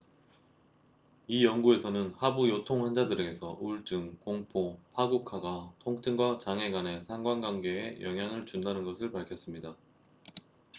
이 연구에서는 하부 요통 환자들에서 우울증 공포 파국화가 통증과 장애 간의 상관관계에 영향을 준다는 것을 밝혔습니다